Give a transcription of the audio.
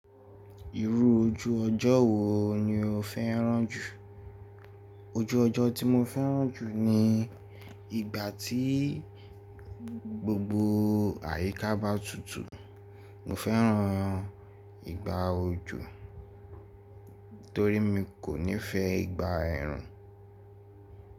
Irú ojú ọjọ́ wo ni o fẹ́ràn jù? Ojú ọjọ́ tí mo fẹ́ràn jù ni ìgbà tí gbogbo àyíká bá tutù. Mo fẹ́ràn ìgba òjò torí mi kò nífẹ̀ẹ́ ìgba ẹ̀rùn.